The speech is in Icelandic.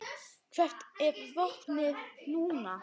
Hvert er vopnið núna?